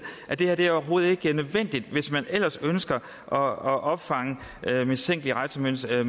at det her overhovedet ikke er nødvendigt hvis man ellers ønsker at opfange mistænkelige rejsemønstre